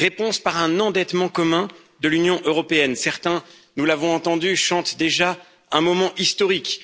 Réponses par un endettement commun de l'Union européenne. Certains, nous l'avons entendu, chantent déjà un moment historique.